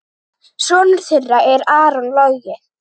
Sonur þeirra er Aron Logi.